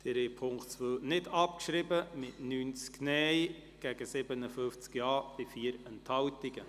Sie haben die Ziffer 2 der Motion nicht abgeschrieben, mit 57 Ja- zu 90 Nein-Stimmen bei 4 Enthaltungen.